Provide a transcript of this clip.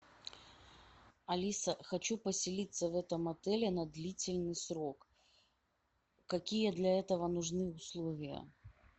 алиса хочу поселиться в этом отеле на длительный срок какие для этого нужны условия